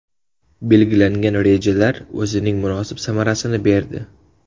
Belgilangan rejalar o‘zining munosib samarasini berdi.